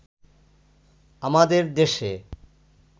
আমাদের দেশে